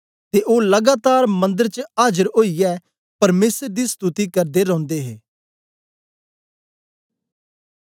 ते ओ लगातार मंदर च आजर ओईयै परमेसर दी स्तुति करदे रौदे हे